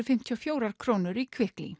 fimmtíu og fjórar krónur í